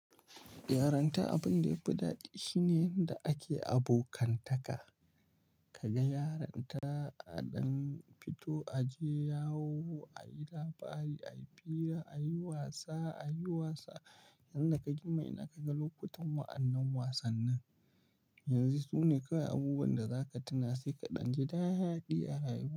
Yaranta abin da yafi daɗi shine inda ake abokantaka. Kaga yaranta, a ɗan fito, a je yawo, a yi labari, a yi fira, a yi wasa, a yi wasa. Inda ka gima ina kaga lokutan wa'annan wasannin. Yanzu sune kai abubuwan da zaka tuna sai ka ɗan ji daaɗi a rayuwa.